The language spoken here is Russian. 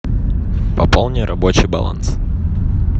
пополни рабочий баланс